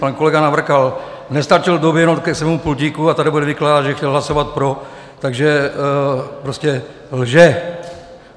Pan kolega Navrkal nestačil doběhnout ke svému pultíku a tady bude vykládat, že chtěl hlasovat pro, takže prostě lže.